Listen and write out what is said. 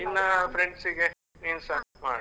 ನಿನ್ನ friends ಗೆ ನೀನ್ಸ ಮಾಡು.